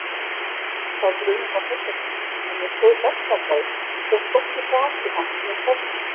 Sá grunur var hrollvekjandi, en ég stóð berskjaldaður, fékk hvorki hrakið hann né staðfest.